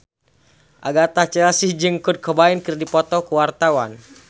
Agatha Chelsea jeung Kurt Cobain keur dipoto ku wartawan